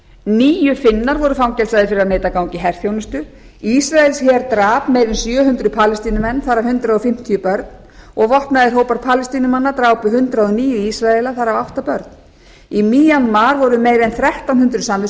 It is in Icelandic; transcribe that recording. níu finnar voru fangelsaðir fyrir að neita að ganga í herþjónustu ísraelsher drap meira en sjö hundruð palestínumenn þar af hundrað fimmtíu börn og vopnaðir hópar palestínumanna drápu hundrað og níu ísraela þar af átta börn í íran mar voru meira en þrettán hundruð